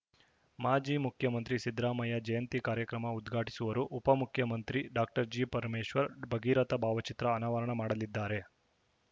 ಮಾಜಿ ಮುಖ್ಯಮಂತ್ರಿ ಸಿದ್ದರಾಮಯ್ಯ ಜಯಂತಿ ಕಾರ್ಯಕ್ರಮ ಉದ್ಘಾಟಿಸುವರು ಉಪ ಮುಖ್ಯಮಂತ್ರಿ ಡಾಕ್ಟರ್ ಜಿಪರಮೇಶ್ವರ್‌ ಭಗೀರಥ ಭಾವಚಿತ್ರ ಅನಾವರಣ ಮಾಡಲಿದ್ದಾರೆ